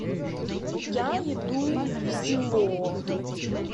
я иду в село